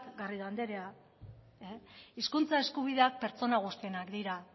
garrido andrea hizkuntza eskubideak pertsona guztienak dira